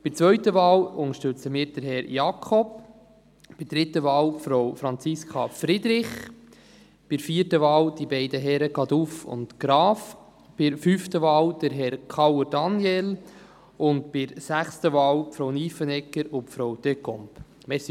Bei der zweiten Wahl unterstützen wir Herrn Jakob, bei der dritten Wahl Frau Friederich, bei der vierten Wahl die beiden Herren Caduff und Graf, bei der fünften Wahl Herrn Kauer und bei der sechsten Wahl Frau Nyffenegger und Frau Descombes.